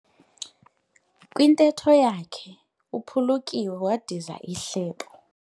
Kwintetho yakhe uphulukiwe wadiza ihlebo.